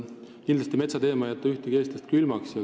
Kindlasti ei jäta metsateema ühtegi eestlast külmaks.